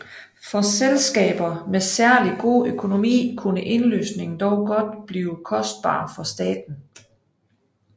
For selskaber med særligt god økonomi kunne indløsningen dog godt blive kostbar for staten